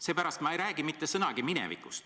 Seepärast ma ei räägi mitte sõnagi minevikust.